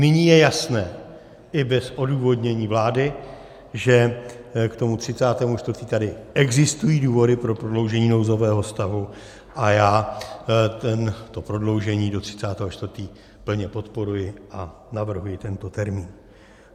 Nyní je jasné i bez odůvodnění vlády, že k tomu 30. 4. tady existují důvody pro prodloužení nouzového stavu, a já to prodloužení do 30. 4. plně podporuji a navrhuji tento termín.